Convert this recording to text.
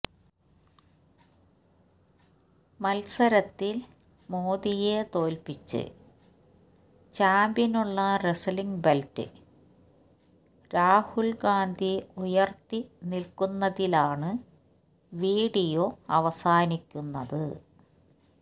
മത്സരത്തിൽ മോദിയെ തോൽപിച്ച് ചാമ്പ്യനുള്ള റെസ്ലിങ് ബെൽറ്റ് രാഹുൽ ഗാന്ധി ഉയർത്തി നിൽക്കുന്നതിലാണ് വീഡിയോ അവസാനിക്കുന്നത്